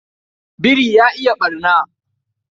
Biri ya iya ɓarna.